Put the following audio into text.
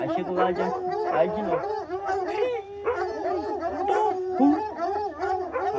Aí chegou lá, aí de novo.